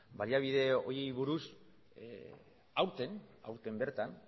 baliabide horiei buruz aurten bertan